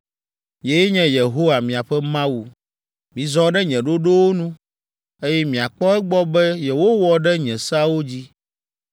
Nyee nye Yehowa, miaƒe Mawu. Mizɔ ɖe nye ɖoɖowo nu, eye miakpɔ egbɔ be yewowɔ ɖe nye seawo dzi.